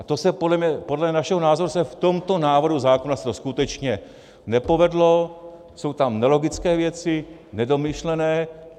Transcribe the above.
A to se podle našeho názoru v tomto návrhu zákona skutečně nepovedlo, jsou tam nelogické věci, nedomyšlené.